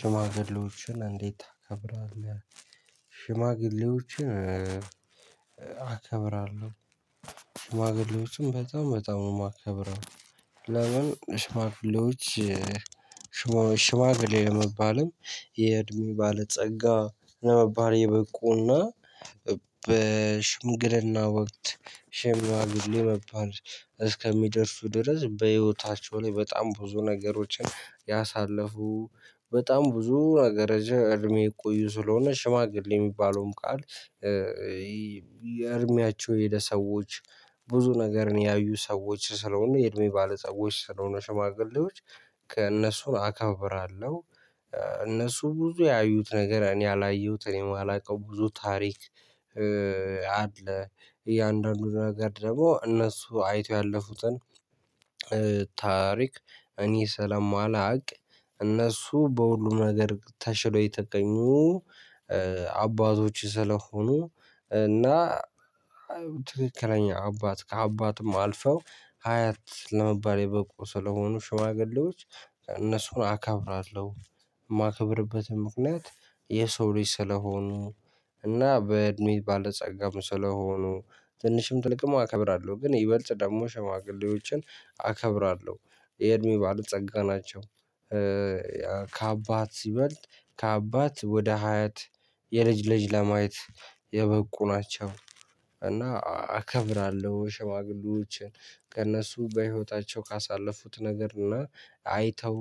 "ሽማግሌዎችን እንዴት ታከብራለህ?" ሽማግሌዎችን አከብራለሁ። ሽማግሌዎችን በጣም በጣም ነው የማከብረው። ለምን? ሽማግሌዎች ሽማ ሽማግሌ ለመባልም የእድሜ ባለጸጋ ለመባል የበቁና በሽምግልና ወቅት ሽማግሌ መባል እስከሚደርሱ ድረስ በህይወታቸው ላይ በጣም ብዙ ነገሮችን ያሳለፉ፣ በጣም ብዙ ነገር ረዥ እድሜ የቆዩ ስለሆነ ሽማግሌ የሚባለውም ቃል የእድሜያቸው የሄደ ሰዎች ብዙ ነገር ያዩ ሰዎች ስለሆኑ የእድሜ ባለጸጋዎች ስለሆኑ ሽማግሌዎች ከእነሱን አከብራለሁ። እነሱ ብዙ ያዩት ነገር እኔ ያላየሁትም እኔ ማላውቀው ብዙ ታሪክ አለ። እያንዳንዱ ነገር ደግሞ እነሱ አይተው ያለፉትን ታሪክ እኔ ስለማላውቅ እነሱ በሁሉም ነገር ተሽለው የተገኙ አባቶች ስለሆኑ እና ትክክለኛ አባት ከአባትም አልፈው ሀያት ለመባል የበቁ ስለሆኑ ሽማግሌዎች እነሱን አከብራለሁ። የማከብርበትም ምክንያት የሰው ልጅ ስለሆኑ፣ እና በእድሜ ባለጸጋም ስለሆኑ፣ ትንሽም ትልቅም አከብራለሁ፤ ግን ይበልጥ ደግሞ ሸማግሌዎችን አከብራለሁ። የእድሜ ባለጸጋ ናቸው፣ ከአባት ይበልጥ ከአባት ወደ ሀያት የልጅ ልጅ ለማየት የበቁ ናቸው፤ እና አከብራለሁ ሽማግሌዎችን ከእነሱ በህይወታቸው ካሳለፉት ነገር እና አይተው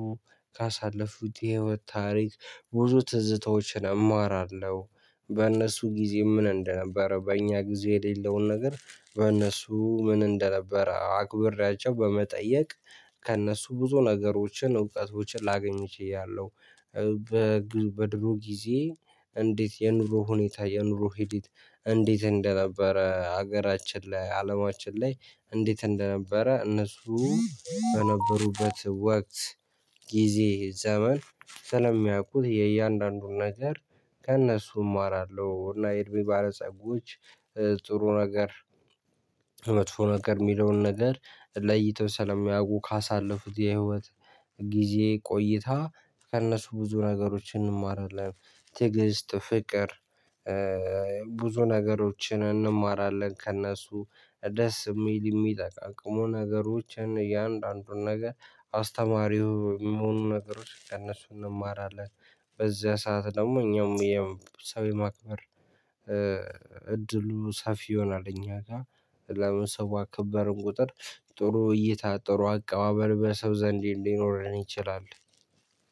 ካሳለፉት የህይወት ታሪክ ብዙ ትዝታዎችን አማራለሁ። በእነሱ ጊዜ ምን እንደነበረ በእኛ ጊዜ የሌለውን ነገር በእነሱ ምን እንደነበረ አክብሬያቸው በመጠየቅ ከእነሱ ብዙ ነገሮችን እውቀቶችን ላገኝ ችያለሁ። በድሮ ጊዜ እንዴት የኑሮ ሁኔታ የኑሮ ሂዲት እንዴት እንደነበረ ሀገራችን ላይ አለማችን ላይ እንዴት እንደነበረ እነሱ በነበሩበት ወቅት ጊዜ ዘመን ስለሚያውቁት የእያንዳንዱን ነገር ከእነሱ እማራለሁ፤ እና የእድሜ ባለጸጎች ጥሩ ነገር መጥፎ ነገር የሚለውን ነገር ለይተው ስለሚያውቁ ካሳለፉት የህይወት ጊዜ ቆይታ ከእነሱ ብዙ ነገሮችን እንማራለን። ትዕግስት፣ ፍቅር ብዙ ነገሮችን እንማራለን ከእነሱ ደስ የሚል የሚጠቅሙ ነገሮችን እያንዳንዱን ነገር አስተማሪው ሚሆኑን ነገሮች ከእነሱ እንማራለን። በዚያ ሰዓት ደግሞ እኛም የሰው የማክበር እድሉ ሰፊ ይሆናል እኛ ጋር። ለምን ሰው ባከበርን ቁጥር ጥሩ እይታ ጥሩ አቀባበል በሰው ዘንድ ሊኖረን ይችላል።